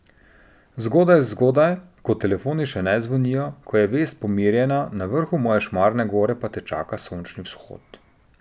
Zgodaj, zgodaj, ko telefoni še ne zvonijo, ko je vest pomirjena, na vrhu moje Šmarne gore pa te čaka sončni vzhod.